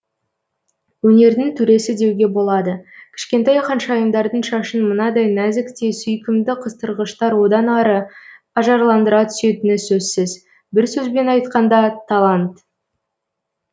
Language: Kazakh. өнердің төресі деуге болады кішкентай ханшайымдардың шашын мынадай нәзік те сүйкімді қыстырғыштар одан ары ажарландыра түсетіні сөзсіз бір сөзбен айтқанда талант